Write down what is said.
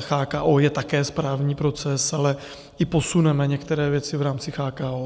CHKO je také správní proces, ale i posuneme některé věci v rámci CHKO.